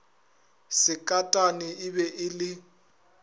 sekatane e be e le